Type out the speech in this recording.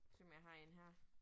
Se om jeg har 1 her